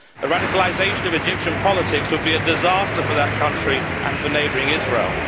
The radicalisation of Egyptian politics would be a disaster for that country and for neighbouring Israel.